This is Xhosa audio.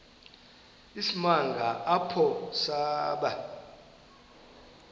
isimanga apho saba